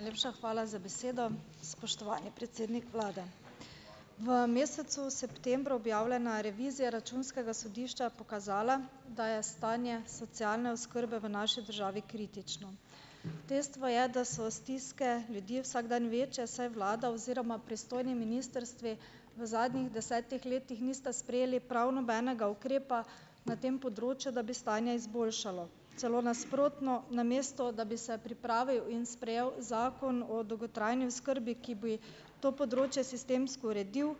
Najlepša hvala za besedo. Spoštovani predsednik vlade. V mesecu septembru objavljena revizija računskega sodišča je pokazala, da je stanje socialne oskrbe v naši državi kritično. Dejstvo je, da so stiske ljudi vsak dan večje, saj vlada oziroma pristojni ministrstvi v zadnjih desetih letih nista sprejeli prav nobenega ukrepa na tem področju, da bi stanje izboljšalo. Celo nasprotno , namesto da bi se pripravil in sprejel Zakon o dolgotrajni oskrbi, ki bi to področje sistemsko uredil,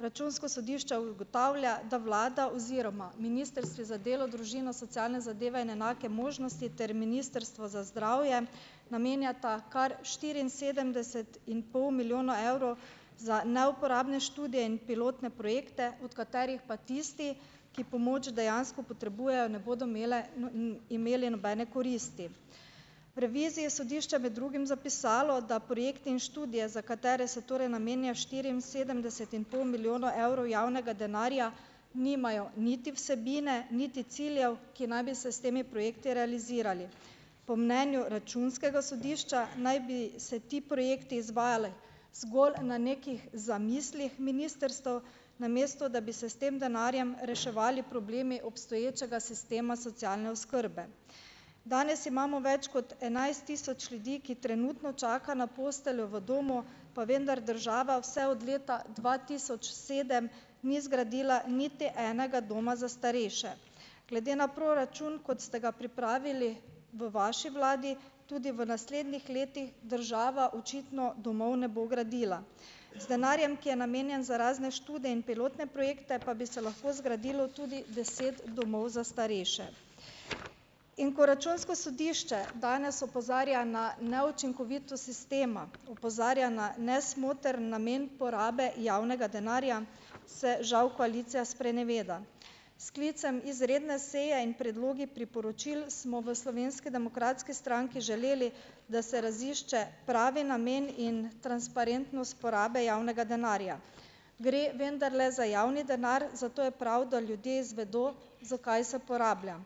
Računsko sodišče ugotavlja, da vlada oziroma ministrstvi za delo, družino, socialne zadeve in enake možnosti ter ministrstvo za zdravje namenjata kar štiriinsedemdeset in pol milijona evrov za neuporabne študije in pilotne projekte, od katerih pa tisti, ki pomoč dejansko potrebujejo, ne bodo imele imeli nobene koristi. V reviziji sodišča med drugim zapisalo, da projekti in študije, za katere se torej namenja štiriinsedemdeset in pol milijona evrov javnega denarja, nimajo niti vsebine niti ciljev, ki naj bi se s temi projekti realizirali. Po mnenju računskega sodišča naj bi se ti projekti izvajali zgolj na nekih zamislih ministrstev, namesto da bi se s tem denarjem reševali problemi obstoječega sistema socialne oskrbe. Danes imamo več kot enajst tisoč ljudi, ki trenutno čaka na posteljo v domu, pa vendar država vse od leta dva tisoč sedem ni zgradila niti enega doma za starejše. Glede na proračun, kot ste ga pripravili v vaši vladi, tudi v naslednjih letih država očitno domov ne bo gradila. Z denarjem , ki je namenjen za razne študije in pilotne projekte, pa bi se lahko zgradilo tudi deset domov za starejše. In ko računsko sodišče danes opozarja na neučinkovitost sistema, opozarja na nesmotrn namen porabe javnega denarja, se žal koalicija spreneveda. Sklicem izredne seje in predlogi priporočil smo v Slovenski demokratski stranki želeli, da se razišče pravi namen in transparentnost porabe javnega denarja. Gre vendarle za javni denar, zato je prav, da ljudje zvedo, za kaj se porablja.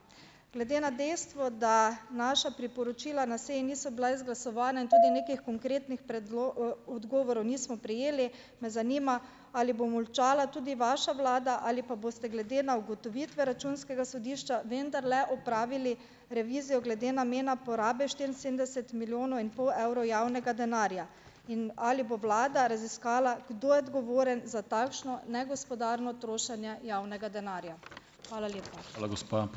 Glede na dejstvo, da naša priporočila na seji niso bila izglasovana in tudi nekih konkretnih odgovorov niso prejeli, me zanima, ali bo molčala tudi vaša vlada ali pa boste glede na ugotovitve računskega sodišča vendarle opravili revizijo glede namena porabe štiriinsedemdeset milijonov in pol evrov javnega denarja. In ali bo vlada raziskala, kdo je odgovoren za takšno negospodarno trošenje javnega denarja? Hvala lepa.